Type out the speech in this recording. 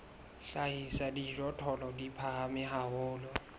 hlahisa dijothollo di phahame haholo